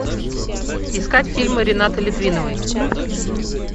искать фильмы ренаты литвиновой